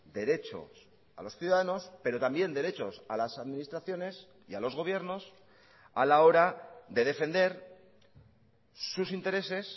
derechos a los ciudadanos pero también derechos a las administraciones y a los gobiernos a la hora de defender sus intereses